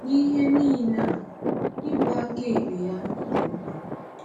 N’ihe niile a, ịbụ aka ekpe ya dị mkpa.